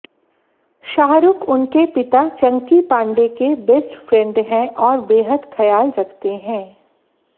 शाहरुख उनके पिता चंकी पांडे के बेस्ट फ्रेंड हैं और बेहद ख्याल रखते हैं